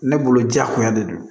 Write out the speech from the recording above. Ne bolo jakoya de don